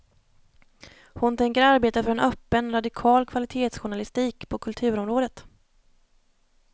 Hon tänker arbeta för en öppen, radikal kvalitetsjournalistik på kulturområdet.